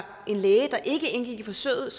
en læge der ikke indgik i forsøget